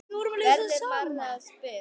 verður manni að spurn.